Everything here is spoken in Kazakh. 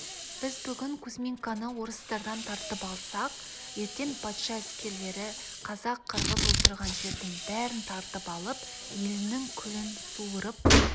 біз бүгін кузьминканы орыстардан тартып алсақ ертең патша әскерлері қазақ-қырғыз отырған жердің бәрін тартып алып еліңнің күлін суырып